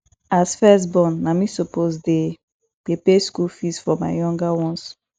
as first born na me suppose dey dey pay school fees for my younger ones